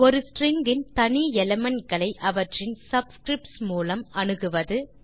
ஒரு ஸ்ட்ரிங் இன் தனி எலிமெண்ட் களை அவற்றின் சப்ஸ்கிரிப்ட்ஸ் மூலம் அணுகுவது